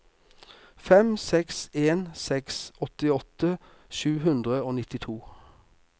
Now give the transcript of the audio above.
fem seks en seks åttiåtte sju hundre og nittito